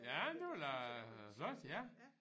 Ja det var da flot ja